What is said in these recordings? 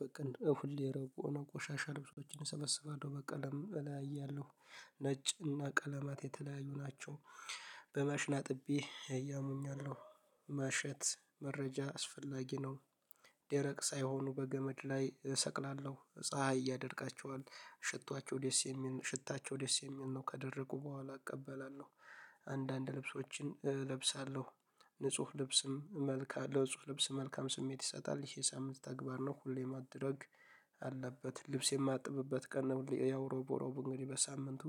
በቀን ሁሌ የረቡ እና ቆሻሻ ልብሶችን እሰበስባለሁ በቀለም በላይ እያለሁ ነጭ እና ቀለማት የተለያዩ ናቸው። በመሽና አጥቤ እያመኙኝ ነው። መሸት መረጃ አስፈላጊ ነው። ደረቅ ሳይሆኑ በገመድ ላይ እሰቅላለሁ ፀሀይ ያደርቃቸዋል ሽታቸው ደስ የሚል ሽታቸው ደስ የሚል ነው ከደረጉ በኋላ እቀበላለሁ። አንዳንድ ልብሶችን እለብሳለሁ። ንጹህ ልብስም መልካ ለጽህ ልብስ መልካም ስሜት ይሰጣል ይሄ ሳምንት ተግባር ነው ሁሌ ማድረግ። አለበት ልብስ የማጥብበት ቀን ያው ሮብ ሮብ እንግዲህ በሳምንቱ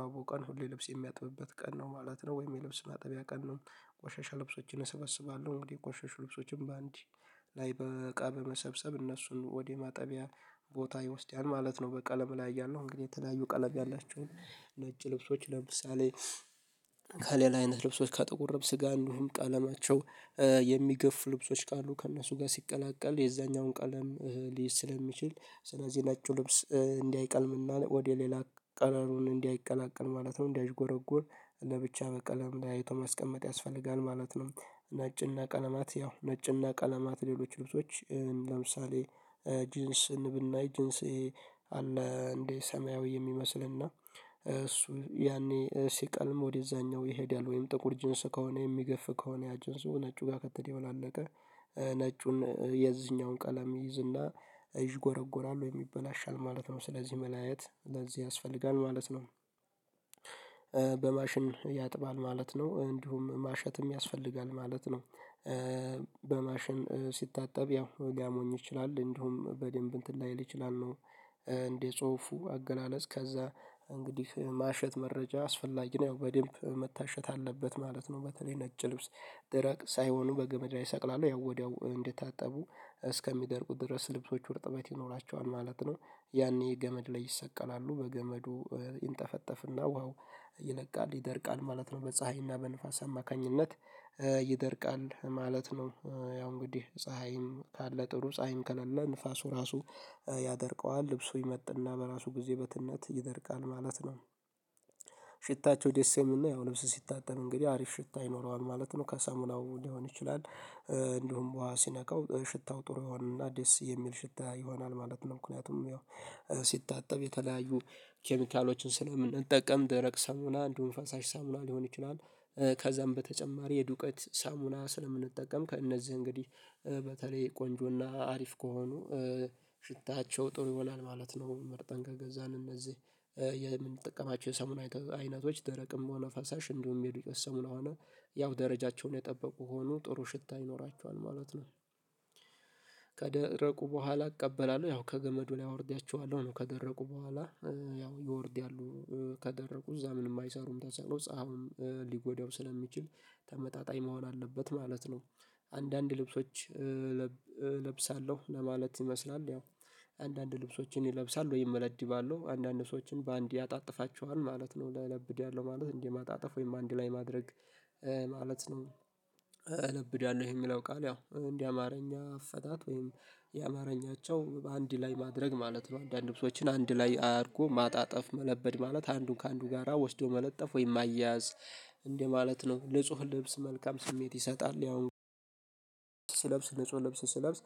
ሮብ ቀን ሁሌ ልብስ የሚያጥብበት ቀን ነው ማለት ነው ወይም የልብስ ማጠቢያ ቀን ነው። ቆሻሻ ልብሶችን እሰበስባለሁ ወዲህ ቆሻሻ ልብሶችን በአንዲ ላይ በቃ በመሰብሰብ እነሱን ወደ ማጠቢያ ቦታ ይወስዳል ማለት ነው። በቀለም ላይ ያለው እንግዲህ የተለያዩ ቀለም ያላችሁን ነጭ ልብሶች ለምሳሌ። ከሌላ አይነት ልብሶች ከጥቁር ልብስ ጋር አንዱም ቀለማቸው የሚገፉ ልብሶች ካሉ ከእነሱ ጋር ሲቀላቀል የዛኛውን ቀለም ሊይዝ ስለሚችል ስለዚህ ነጩ ልብስ እንዲህ አይቀልምና ወደ ሌላ ቀረሩን እንዲህ አይቀላቀል ማለት ነው። እንዲህ አዥጎረጎር ለብቻ ቀለም ላይ አይቶ ማስቀመጥ ያስፈልጋል ማለት ነው። ነጭና ቀለማት ያው ነጭና ቀለማት ሌሎች ልብሶች ለምሳሌ። ጅንስን ብናይ ጅንስ አለ እንዴ ሰማያዊ የሚመስልና እሱ ያኔ ሲቀልም ወደዛኛው ይሄዳል ወይም ጥቁር ጅንስ ከሆነ የሚገፍ ከሆነ ያጅንስ ነጩ ጋር ከተደባላለቀ ነጩን የዚህኛውን ቀለም ይይዝና ይዥ ጎረጎራል ወይ ይበላሻል ማለት ነው ስለዚህ መለያየት ለዚህ ያስፈልጋል ማለት ነው። በማሽን ያጥባል ማለት ነው እንዲሁም ማሸትም ያስፈልጋል ማለት ነው። በማሽን ሲታጠብ ያው ሊያሞኝ ይችላል እንዲሁም በደንብ እንትን ላይል ይችላል ነው። እንዴ ጽሁፉ አገላለጽ ከዛ። እንግዲህ ማሸት መረጃ አስፈላጊ ነው በደንብ መታሸት አለበት ማለት ነው። በተለይ ነጭ ልብስ ድረቅ ሳይሆኑ በገመዳ ይሰቅላሉ ያው ወዲያው እንዴት ታጠቡ እስከሚደርቁት ድረስ ልብሶች ውርጥበት ይኖራቸዋል ማለት ነው። ያኔ ገመድ ላይ ይሰቀላሉ በገመዱ ይንጠፈጠፍና ውሃው ይለቃል ይደርቃል ማለት ነው። በፀሀይና በንፋስ አማካኝነት ይደርቃል ማለት ነው። ያው እንግዲህ ፀሀይን ካለ ጥሩ ፀሀይን ከሌለ ንፋሱ ራሱ ያደርቀዋል ልብሱ ይመጥና በራሱ ጊዜ በትነት ይደርቃል ማለት ነው። ሽታቸው ደስ የምል እና ያው ልብስ ሲታጠብ እንግዲህ አሪፍ ሽታ ይኖረዋል ማለት ነው ከሰሙናው ሊሆን ይችላል። እንዲሁም ውሃ ሲናከው ሽታው ጥሩ ይሆናል እና አዲስ የሚል ሽታ ይሆናል ማለት ነው። ምንያቱም የሚያው ሲታጠብ የተለያዩ ኬሚካሎችን ስለምንጠቀም ደረቅ ሳሙና አንዱን ፈሳሽ ሳሙና ሊሆን ይችላል። ከዛም በተጨማሪ የዱቄት ሳሙና ስለምንጠቀም ከእነዚህ እንግዲህ በተለይ ቆንጆና አሪፍ ከሆኑ ሽታቸው ጥሩ ይሆናል ማለት ነው። መርጠን ከገዛን እነዚህ የምንጠቀማቸው የሰሙና አይነቶች ደረቅም ሆነ ፈሳሽ እንደውም የሚሄዱ የሰሞኑ ሆነ ያው ደረጃቸውን የጠበቁ ሆኖ ጥሩ ሽታ ይኖራቸዋል ማለት ነው። ከደረቁ በኋላ እቀበላለሁ ያው ከገመዱ ላይ አወርዳችኋለሁ ነው ከደረቁ በኋላ ያው ይወርዳሉ ከደረቁ እዛ ምንም አይሰሩም ተጽዕኖ ፀሀውም ሊጎዳው ስለሚችል ተመጣጣኝ መሆን አለበት ማለት ነው። አንዳንድ ልብሶች እለብሳለሁ ለማለት ይመስላል ያው አንዳንድ ልብሶችን ይለብሳል ወይ እመለዲባለሁ አንዳንድ ሰዎችን በአንዴ ያጣጥፋቸዋል ማለት ነው ለለብድ ያለው ማለት እንዴ ማጣጠፍ ወይም አንዴ ላይ ማድረግ ማለት ነው። እለብዳለሁ የሚለው ቃል ያው እንዲህ አማርኛ አፈታት ወይም የአማርኛቸው በአንድ ላይ ማድረግ ማለት ነው። አንዳንድ ልብሶችን አንድ ላይ አድርጎ ማጣጠፍ መለበድ ማለት አንዱን ከአንዱ ጋራ ወስዶ መለጠፍ ወይ ማያያዝ እንደማለት ነው። ልጹህ ልብስ መልካም ስሜት ይሰጣል ያውም ስለብስ ንጹህ ልብስ ሲለብስ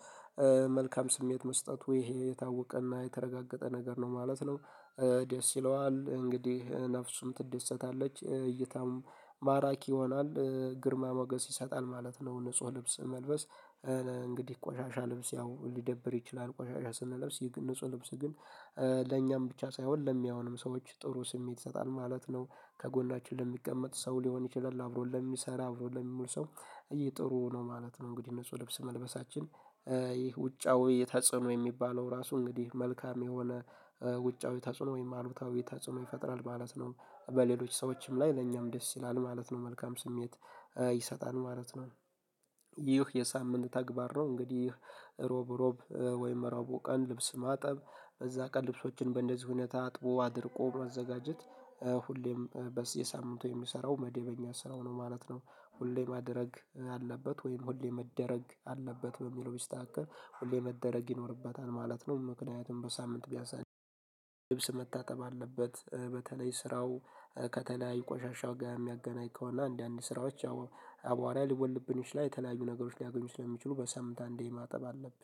መልካም ስሜት መስጠት ወይ ይሄ የታወቀና የተረጋገጠ ነገር ነው ማለት ነው። ደስ ይለዋል እንግዲህ ነፍሱም ትድሰታለች እይታም ማራኪ ይሆናል ግርማ ሞገስ ይሰጣል ማለት ነው። ንጹህ ልብስ መልበስ እንግዲህ ቆሻሻ ልብስ ያው ሊደብር ይችላል ቆሻሻ ስንለብስ ይህ ንጹህ ልብስ ግን ለኛም ብቻ ሳይሆን ለሚያወንም ሰዎች ጥሩ ስሜት ይሰጣል ማለት ነው። ከጎናችን ለሚቀመጥ ሰው ሊሆን ይችላል አብሮ ለሚሰራ አብሮ ለምሁል ሰው ይሄ ጥሩ ነው ማለት ነው። እንግዲህ እነሱ ልብስ መልበሳችን ይህ ውጫዊ የተጸኖ የሚባለው ራሱ እንግዲህ መልካም የሆነ ውጫዊ ተጸኖ ወይም አሉታዊ ተጽዕኖ ይፈጥራል ማለት ነው። በሌሎች ሰዎችም ላይ ለኛም ደስ ይላል ማለት ነው መልካም ስሜት ይሰጣል ማለት ነው። ይህ የሳምንት ተግባር ነው እንግዲህ ሮብ ሮብ ወይም መራቦ ቀን ልብስ ማጠብ እዛ ቀን ልብሶችን በእንደዚህ ሁኔታ አጥቦ አድርቆ መዘጋጀት ሁሌም የሳምንቱ የሚሰራው መደበኛ ስራው ነው ማለት ነው። ሁሌ ማድረግ አለበት ወይም ሁሌ መደረግ አለበት በሚለው ቢስተካከል ሁሌ መደረግ ይኖርበታል ማለት ነው። ምክንያቱም በሳምንት ቢያሳድድ ልብስ መታጠብ አለበት በተለይ ስራው ከተለያዩ ቆሻሻ ጋር የሚያገናኘውና አንዳንድ ስራዎች አቧራ ልወልድብንሽ ላይ የተለያዩ ነገሮች ሊያገኙ ስለሚችሉ በሳንምት እንዲህ ማጠብ አለብን።